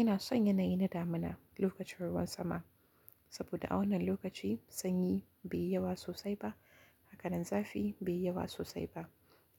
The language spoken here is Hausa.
Ina son yanayi na damina lokacin ruwan sama, saboda a wannan lokaci sanyi bai yi yawa sosai ba, haka nan zafi bai yi yawa sosai ba,